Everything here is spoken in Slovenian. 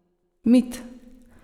Mit!